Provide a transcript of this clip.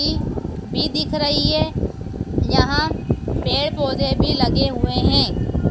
भी दिख रही है। यहां पेड़-पौधे भी लगे हुए हैं।